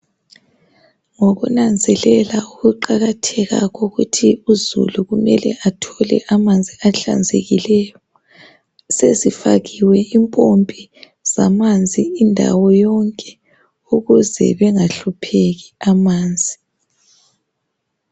Ngokunanzelela ukuqakatheka kokuthi uzulu kumele athole amanzi ahlanzekileyo .Sezifakiwe impompi zamanzi indawo yonke ukuze bengahlupheki amanzi